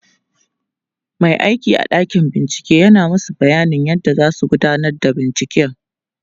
Mai aiki a ɗakin bincike yana masu bayanin yadda zasu gudanar da binciken